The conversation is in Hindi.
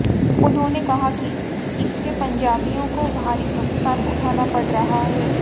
उन्होंने कहा कि इससे पंजाबियों को भारी नुक्सान उठाना पड़ रहा है